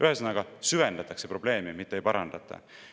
Ühesõnaga, süvendatakse probleeme, mitte ei parandata.